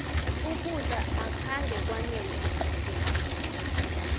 ukudla akhange kwanele equdeni